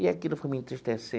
E aquilo ficou me